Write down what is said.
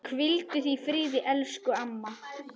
Hvíldu í friði, elsku amma.